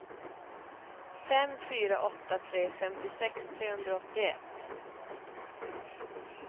fem fyra åtta tre femtiosex trehundraåttioett